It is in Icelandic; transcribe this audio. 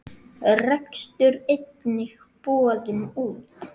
Rekstur einnig boðinn út.